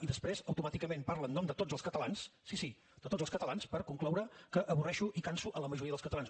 i després automàticament parla en nom de tots els catalans sí sí de tots els catalans per concloure que avorreixo i canso la majoria dels catalans